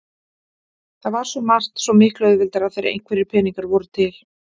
Það var svo margt svo miklu auðveldara þegar einhverjir peningar voru til.